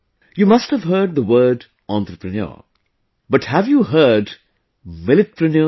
You must have heard the word entrepreneur, but have you heard Milletpreneurs